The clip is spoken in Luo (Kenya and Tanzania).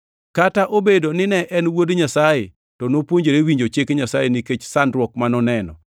Kata obedo ni ne en Wuod Nyasaye to nopuonjore winjo chik Nyasaye nikech sandruok ma noneno,